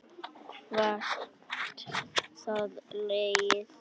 Hvert það leiðir mann.